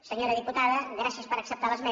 senyora diputada gràcies per acceptar l’esmena